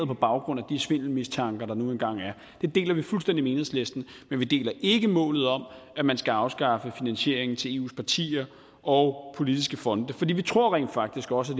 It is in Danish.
på baggrund af de svindelmistanker der nu engang er den deler vi fuldstændig med enhedslisten men vi deler ikke målet om at man skal afskaffe finansieringen til eus partier og politiske fonde for vi tror rent faktisk også